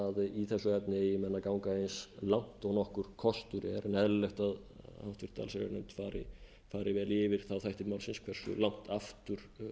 í þessu efni eigi menn að ganga eins langt og nokkur kostur er en eðlileg er að háttvirta allsherjarnefnd fari yfir þá þætti málsins hversu langt aftur